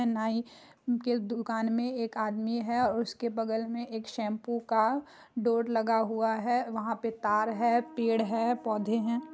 नाई के दुकान में एक आदमी है उसके बगल में एक शैंपू का बोर्ड लगा हुआ है वहां पे तार है पेड़ है पौधे है।